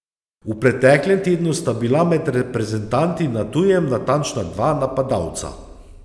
V preteklem tednu sta bila med reprezentanti na tujem natančna dva napadalca.